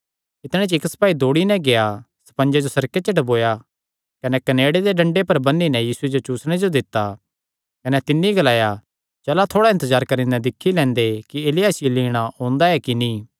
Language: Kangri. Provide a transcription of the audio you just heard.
कने इक्क सपाई दौड़ी नैं गेआ स्पंजे जो सिरके च डुबाया कने कनेड़े दे डंडे पर बन्नी नैं यीशुये जो चुसणे जो दित्ता कने तिन्नी ग्लाया चला थोड़ा इन्तजार करी नैं दिक्खी तां लैंदे कि एलिय्याह इसियो लीणा ओंदा ऐ कि नीं